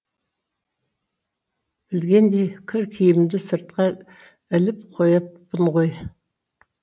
білгендей кір киімді сыртқа іліп қойыппын ғой